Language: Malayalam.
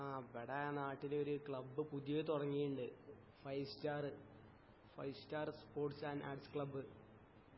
ആ ഇബടെ നാട്ടിലൊര് ക്ലബ് പുതിയ തുടങ്ങീണ്ടു five star five star sports and arts club